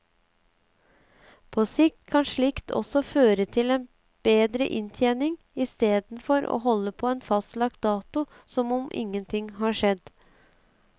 På sikt kan slikt også føre til bedre inntjening, istedenfor å holde på en fastlagt dato som om ingen ting har skjedd.